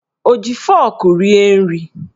O ji fọrkụ rie nri?